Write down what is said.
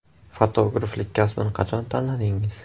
Fotograflik kasbini qachon tanladingiz?